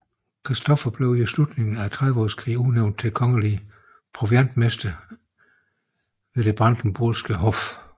Christoffer blev i slutningen af Trediveårskrigen udnævnt til kongelig proviantmester ved det Brandenburgske Hof